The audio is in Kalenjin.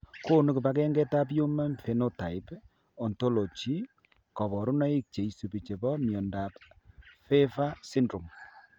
Konu kibagengeitab Human Phenotype Ontology kaborunoik cheisubi chebo miondop PHAVER syndrome